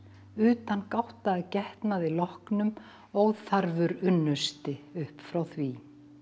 utangátta að getnaði loknum óþarfur unnusti upp frá því